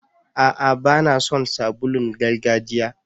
Aa, ba na son sabulun gargajiya.